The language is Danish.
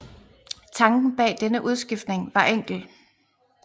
Tanken bag denne udskiftning var enkel